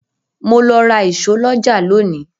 Mo lọ ra ìṣó lọ́jà lónìí.